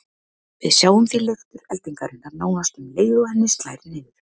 Við sjáum því leiftur eldingarinnar nánast um leið og henni slær niður.